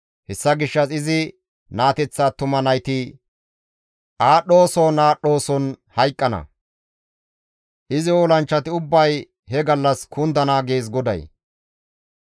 Hessa gishshas izi naateththa attuma nayti aadhdhooson aadhdhooson hayqqana; izi olanchchati ubbay he gallas kundana» gees GODAY.